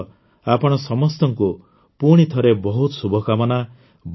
ଏଥିସହ ଆପଣ ସମସ୍ତଙ୍କୁ ପୁଣିଥରେ ବହୁତ ଶୁଭକାମନା